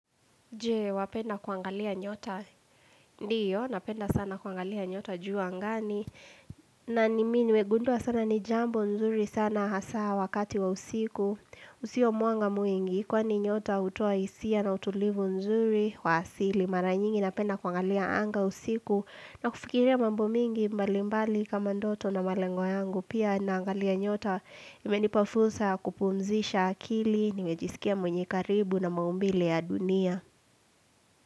Je, wapenda kuangalia nyota. Ndiyo, napenda sana kuangalia nyota juu angani. Na ni mimi nimegundua sana ni jambo nzuri sana hasa wakati wa usiku. Usio mwanga mwingi, kwani nyota hutoa hisia na utulivu nzuri wa asili. Mara nyingi napenda kuangalia anga usiku. Na kufikiria mambo mingi mbalimbali kama ndoto na malengo yangu. Pia naangalia nyota imenipa fursa kupumzisha akili. Nimejisikia mwenye karibu na maumbile ya dunia.